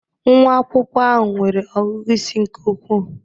Nwa akwụkwọ ahụ nwere ọgụgụ isi nke ukwuu.